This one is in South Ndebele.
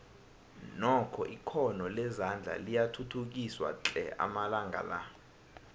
nokho ikhono lezandla liyathuthukiswa tle amalanga la